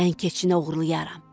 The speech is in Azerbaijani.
Mən keçinə odlayaram.